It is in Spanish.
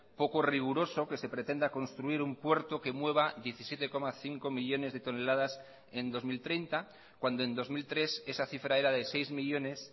poco riguroso que se pretenda construir un puerto que mueva diecisiete coma cinco millónes de toneladas en dos mil treinta cuando en dos mil tres esa cifra era de seis millónes